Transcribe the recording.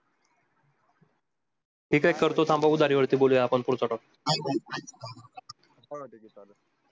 ठीक आहे करतो थांबा उधारी वरती बोलू आपण पुढचा topic